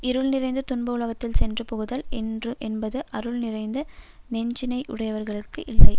இருள் நிறைந்த துன்ப உலகத்தில் சென்று புகுதல் என்று என்பது அருள் நிறைந்த நெஞ்சினையுடையவர்களுக்கு இல்லை